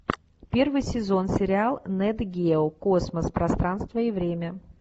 первый сезон сериал нет гео космос пространство и время